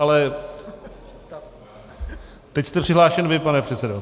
Ale teď jste přihlášen vy, pane předsedo.